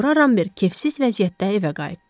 Sonra Ramber kefsiz vəziyyətdə evə qayıtdı.